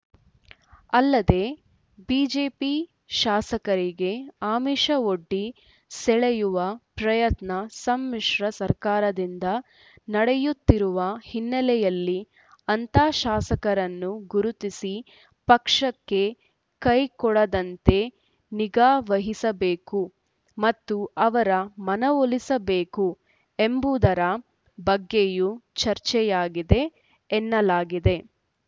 ಅಲ್ಲದೆ ಬಿಜೆಪಿ ಶಾಸಕರಿಗೆ ಆಮಿಷವೊಡ್ಡಿ ಸೆಳೆಯುವ ಪ್ರಯತ್ನ ಸಮ್ಮಿಶ್ರ ಸರ್ಕಾರದಿಂದ ನಡೆಯುತ್ತಿರುವ ಹಿನ್ನೆಲೆಯಲ್ಲಿ ಅಂಥ ಶಾಸಕರನ್ನು ಗುರುತಿಸಿ ಪಕ್ಷಕ್ಕೆ ಕೈಕೊಡದಂತೆ ನಿಗಾ ವಹಿಸಬೇಕು ಮತ್ತು ಅವರ ಮನವೊಲಿಸಬೇಕು ಎಂಬುವುದರ ಬಗ್ಗೆಯೂ ಚರ್ಚೆಯಾಗಿದೆ ಎನ್ನಲಾಗಿದೆ